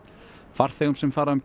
farþegum sem fara um